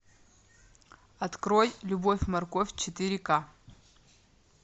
открой любовь морковь четыре ка